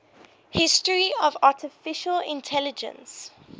history of artificial intelligence